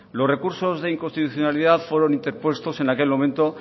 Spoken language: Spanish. los recursos de inconstitucionalidad fueron interpuestos en aquel momento